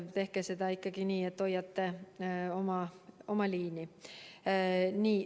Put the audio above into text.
Tehke seda ikkagi nii, et hoiate oma liini.